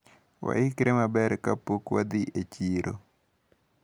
Waikre maber kapok wadhi e chiro.